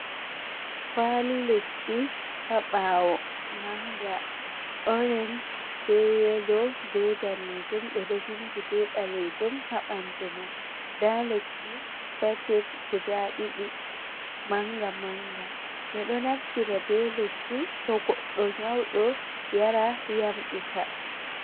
Kwali lekki ha bawo, manga orange ɓe yelo ɓe danejum ɓeɗo vindi ɓe ɓalejum, ha bandu mai, nɗa lekki sachet guda ɗiɗi manga manga. Ɓiɗo naftira be lekki to goɗɗo nyauɗo yara yamɓita.